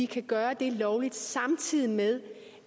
kan gøre det lovligt samtidig med